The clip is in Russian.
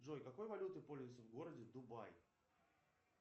джой какой валютой пользуются в городе дубай